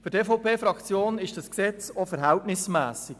Für die EVP-Fraktion ist das vorliegende Gesetz verhältnismässig.